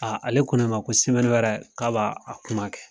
ale ko ne ma ko wɛrɛ k'a b'a kuma kɛ.